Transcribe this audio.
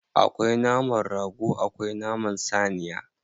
Akwai naman rago akwai naman saniya.